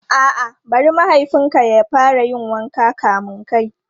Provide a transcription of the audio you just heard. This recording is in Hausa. A'a, bari mahaifin ka ya fara yin wanka kamin kai.